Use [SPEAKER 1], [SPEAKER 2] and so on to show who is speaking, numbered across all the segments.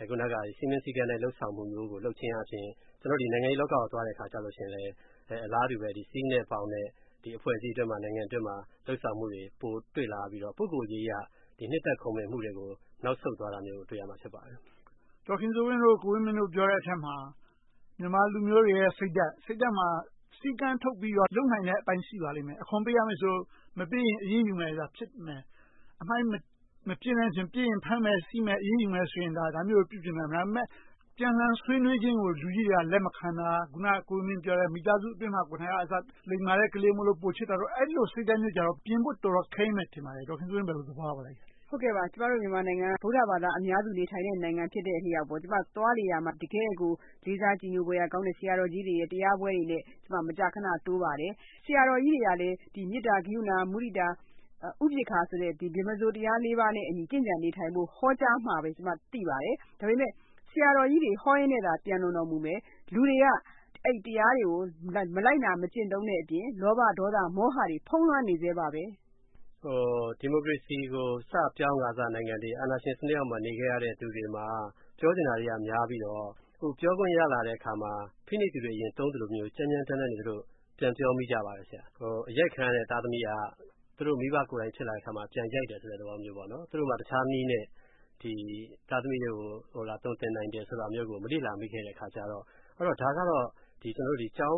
[SPEAKER 1] အခုနက စည်းမျဉ်းစည်းကမ်းနဲ့ လုပ်ဆောင်မှုမျိုးကို လုပ်ချင်အားဖြင့် နိုင်ငံရေးလောကကို သွားတဲ့အခါကြရင် အလားတူပဲ စည်းနဲ့ဘောင်နဲ့ အဖွဲ့အစည်းအတွင်းမှာ နိုင်ငံအတွင်းမှာ လုပ်ဆောင်မှုတွေ ပိုတွေ့လာရပြီ ပုဂ္ဂိုလ်ရေးအရ နှစ်သက်ခုံမင်မှုတွေကို နောက်ဆုတ်သွားတာမျိုးကို တွေ့ရပါလိမ့်မယ်။
[SPEAKER 2] ဒေါ်ခင်စိုးဝင်း နဲ့ ကိုဝင်းမင်းတို့ ပြောတဲ့အထဲမှာ မြန်မာလူမျိုးတွေရဲ့ စိတ်ဓါတ်။ စိတ်ဓါတ်မှာ စည်းကမ်းထုတ်ပြီးတော့ လုပ်နိုင်တဲ့အပိုင်း ရှိပါလိမ့်မယ်။ အခွန်ပေးရမယ်ဆိုရင် မပေးရင် အရေးယူမယ်။ အမှိုက်မပစ်နဲ့ ပစ်ရင် ဖမ်းမယ်ဆီးမယ်၊ အရေးယူမယ်ဆိုရင် ဒါမျိုးတွေကို ပြုပြင်နိုင်မယ်။ ဒါပေမဲ့ ပြန်လှန်ဆွေးနွေးခြင်းကို လူကြီးတွေက လက်မခံတာ။ အခုန ကိုဝင်းမင်းပြောတဲ့ မိသားစုအတွင်းမှာကို လိမ္မာတဲ့ကလေးမို့ ပိုချစ်တာတို့ အဲဒီလို စိတ်ဓါတ်မျိုးကြတော့ ပြင်ဖို့တော်တော် ခဲယှဉ်းမယ် ထင်ပါတယ်။ ဒေါ်ခင်စိုးဝင်း အဲဒါကို ဘယ်လိုသဘောရပါလဲ။
[SPEAKER 3] ကျမတို့ မြန်မာနိုင်ငံက ဗုဒ္ဓဘာသာ အများစုနေထိုင်တဲ့ နိုင်ငံဖြစ်တဲ့အလျောက် ကျမ သွားလေရာမှာ တကယ့်ကို လေးစားကြည်ညိုဖွယ်ရာကောင်းတဲ့ ဆရာတော်ကြီးတွေရဲ့ တရားပွဲတွေနဲ့ ကျမ မကြာခဏ တိုးပါတယ်။ ဆရာတော်ကြီးတွေကလည်း မေတ္ဆာ၊ ကရုဏာ၊ မုဒိတာ၊ ဥပက္ခာဆိုတဲ့ ဗြမ္မာစိုးတရား ပါးနဲ့ ကျင့်ကြံနေထိုင်ဖို့ ဟောကြားတယ်ဆိုတာ ကျမ သိပါတယ်။ ဒါပေမဲ့ ဆရာတော်ကြီးတွေ ဟောရင်းနဲ့သာ ပျံတော်လွန်မူမယ် လူတွေက အဲဒီတရားတွေကို မလိုက်နာ မကျင့်သုံးတဲ့အပြင် လောဘ၊ ဒေါသ၊ မောဟတွေ ဖုံးလွှမ်းနေဆဲပါ။
[SPEAKER 1] ဒီမိုကရေစီကို စပြောင်းခါစနိုင်ငံတွေ၊ အာဏာရှင်စနစ်အောက်မှာ နေခဲ့ရတဲ့လူတွေမှာ ပြောချင်တာတွေက များပြီးတော့ ပြောခွင့်ရလာတဲ့အခါမှာ ဖိနှိပ်သူတွေ သုံးသလိုမျိုး ကြမ်းကြမ်းတမ်းတမ်း ပြန်ပြောမိကြပါတယ်။ အရိုက်ခံရတဲ့ သားသမီးက သူတို့ မိဘပြန်ဖြစ်လာတဲ့အခါမှာ ပြန်ရိုက်တယ်ဆိုတဲ့ သဘောမျိုး။ သူတို့မှာ တခြားနည်းနဲ့ သားသမီးကို သွန်သင်နိုင်တယ်ဆိုတာကို မလေ့လာမိတဲ့အခါမှာ - ဒါကတော့ ကျောင်း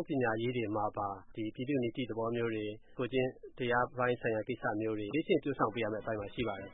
[SPEAKER 1] ပညာရေးတွေမှာပါ ပြည်သူ့နီတိသဘောမျိုးတွေ၊ ကိုယ်ကျင့်တရားပိုင်းဆိုင်ရာ ကိစ္စမျိုးတွေ လေ့ကျင့်ပျိုထောင်ပေးရမယ့်အပိုင်းမှာ ရှိပါတယ်။